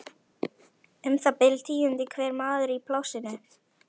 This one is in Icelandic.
Um það bil tíundi hver maður í plássinu.